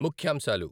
ముఖ్యాంశాలు